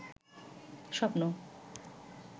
স্বপ্ন